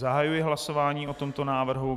Zahajuji hlasování o tomto návrhu.